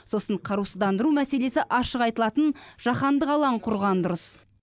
сосын қарусыздандыру мәселесі ашық айтылатын жаһандық алаң құрған дұрыс